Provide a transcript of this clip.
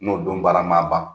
N'o don bara ma ban.